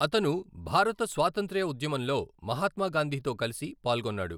అతను భారత స్వాతంత్ర్య ఉద్యమంలో మహాత్మా గాంధీతో కలిసి పాల్గొన్నాడు.